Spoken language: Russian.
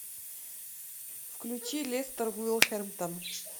включи лестер вулверхэмптон